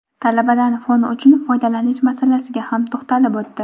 talabadan fon uchun foydalanish masalasiga ham to‘xtalib o‘tdi.